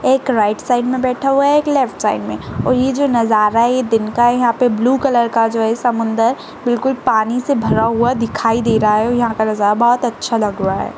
एक right side में बैठा हुआ है एक लेफ्ट साइक में और ये जो नजारा है दिन का है यहाँ पे ब्लू कलर का जो है समुन्द्र बिल्कुल पानी से भरा हुआ दिखाई दे रहा है और यहाँ पर का नज़ारा बहोत अच्छा लग रहा है।